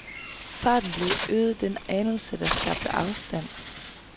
Farten blev øget den anelse, der skabte afstand.